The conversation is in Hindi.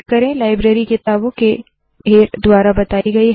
लाइब्ररी किताबो के देर द्वारा बताई गई है